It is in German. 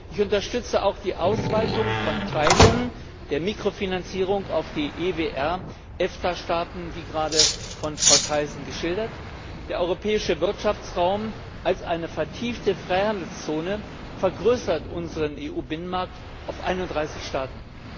Ich unterstütze auch die Ausweitung von Teilen der Mikrofinanzierung auf die EWR EFTA Staaten, wie gerade von Frau Thyssen geschildert. Der Europäische Wirtschaftsraum als eine vertiefte Freihandelszone vergrößert unseren EU Binnenmarkt auf 31 Staaten.